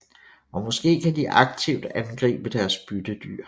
Og måske kan de aktivt angribe deres byttedyr